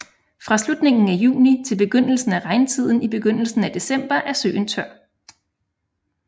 Fra slutningen af juni til begyndelsen af regntiden i begyndelsen af december er søen tør